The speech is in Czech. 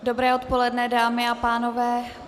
Dobré odpoledne, dámy a pánové.